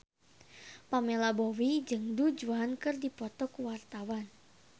Pamela Bowie jeung Du Juan keur dipoto ku wartawan